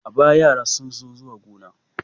A baya, yara sun so zuwa gona.